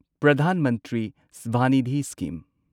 Pradhan Mantri Swanidhi scheme